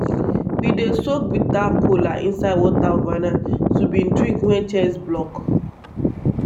we dey soak bitter kola inside water overnight to bin drink wen chest block.